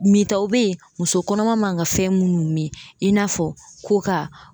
Mitaw be ye muso kɔnɔma man ka fɛn munnu mi i n'a fɔ koka